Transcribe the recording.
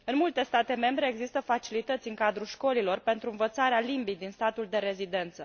În multe state membre există facilități în cadrul școlilor pentru învățarea limbii din statul de rezidență.